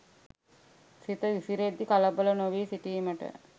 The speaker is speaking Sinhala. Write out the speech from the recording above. සිත විසිරෙද්දී කලබල නොවී සිටීමට